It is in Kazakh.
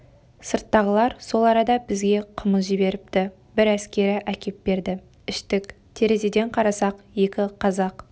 сырттағылар сол арада бізге қымыз жіберіпті бір әскері әкеп берді іштік терезеден қарасақ екі қазақ